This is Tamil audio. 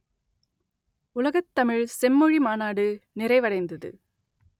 உலகத் தமிழ் செம்மொழி மாநாடு நிறைவடைந்தது